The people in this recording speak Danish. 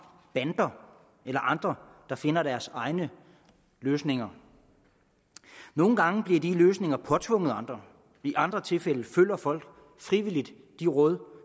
bander eller andre der finder deres egne løsninger nogle gange bliver disse løsninger påtvunget andre i andre tilfælde følger folk frivilligt de råd